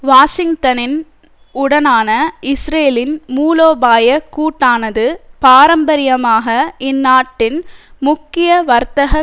வாஷிங்டனின் உடனான இஸ்ரேலின் மூலோபாய கூட்டானது பாரம்பரியமாக இந்நாட்டின் முக்கிய வர்த்தக